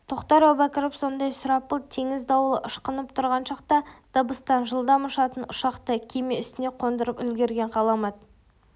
тоқтар әубәкіров сондай сұрапыл теңіз дауылы ышқынып тұрған шақта дыбыстан жылдам ұшатын ұшақты кеме үстіне қондырып үлгерген ғаламат